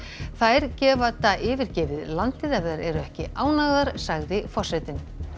þær geta yfirgefið landið ef þær eru ekki ánægðar sagði forsetinn